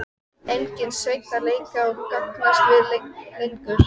Enginn Sveinn að leika og gantast við lengur.